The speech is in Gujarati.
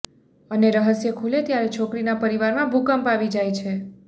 અને રહસ્ય ખુલે ત્યારે છોકરીના પરિવારમાં ભૂકંપ આવી જાય છે